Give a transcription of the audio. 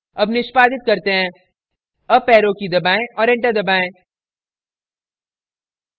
अब निष्पादित करते हैं अप arrow की दबाएं और enter दबाएं